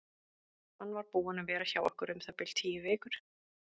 Hann var búinn að vera hjá okkur um það bil tíu vikur.